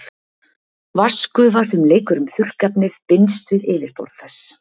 Vatnsgufa sem leikur um þurrkefnið binst við yfirborð þess.